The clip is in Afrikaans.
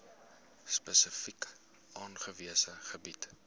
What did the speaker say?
spesifiek aangewese gebiede